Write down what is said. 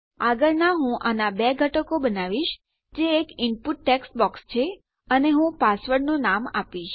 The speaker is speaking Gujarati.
આગળ હું આનાં બે ઘટકો બનાવીશ જે એક ઇનપુટ ટેક્સ્ટ બોક્સ છે અને હું પાસવર્ડનું નામ આપીશ